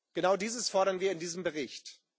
Genau dieses fordern wir in diesem Bericht.